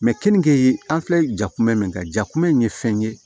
keninge an filɛ jakuma min kan ja kumɛ in ye fɛn ye